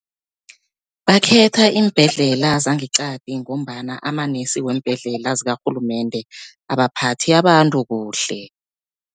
Bakhetha iimbhedlela zangeqadi, ngombana amanesi weembhedlela zikarhulumende abaphathi abantu kuhle.